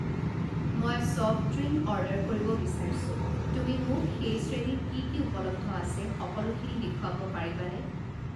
মই soft drink order কৰিব বিচাৰিছোঁ, তুমি মোক সেই শ্ৰেণীত কি কি উপলব্ধ আছে সকলোখিনি দেখুৱাব পাৰিবানে?